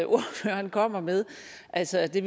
ordføreren kommer med altså det